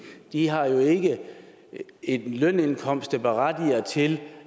har jo ikke en lønindkomst der berettiger til